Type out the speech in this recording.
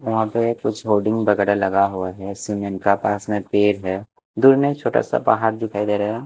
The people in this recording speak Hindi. वहाँ पे कुछ होल्डिंग वगैरह लगा हुआ है सीमेन का पास में पेड़ है दूर में छोटा सा पहाड़ दिखाई दे रहा है।